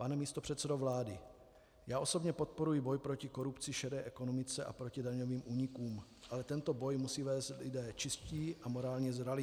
Pane místopředsedo vlády, já osobně podporuji boj proti korupci, šedé ekonomice a proti daňovým únikům, ale tento boj musí vést lidé čistí a morálně zralí.